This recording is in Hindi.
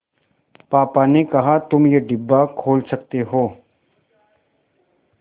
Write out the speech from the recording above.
पापा ने कहा तुम ये डिब्बा खोल सकते हो